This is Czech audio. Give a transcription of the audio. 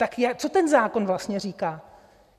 Tak co ten zákon vlastně říká?